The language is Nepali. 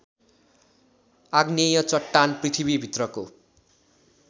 आग्नेय चट्टान पृथ्वीभित्रको